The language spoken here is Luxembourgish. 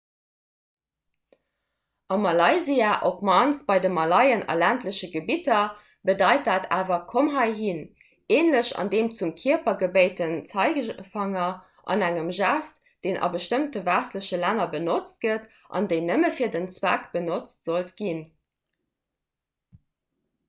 a malaysia op d'mannst bei de malaien a ländleche gebidder bedeit dat awer komm heihin änlech dem zum kierper gebéiten zeigefanger engem gest deen a bestëmmte westleche länner benotzt gëtt an déi nëmme fir deen zweck benotzt sollt ginn